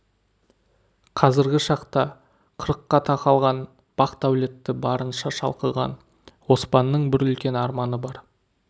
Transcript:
қазіргі шақта қырыққа тақалған бақ-дәулеті барынша шалқыған оспанның бір үлкен арманы бар